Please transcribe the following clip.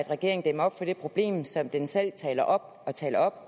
regeringen dæmmer op for det problem som den selv taler op og taler op